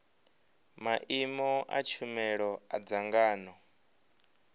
maimo a tshumelo a dzangano